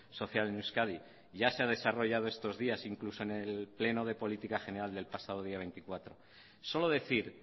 social en euskadi ya se ha desarrollado estos días incluso en el pleno de política general del pasado día veinticuatro solo decir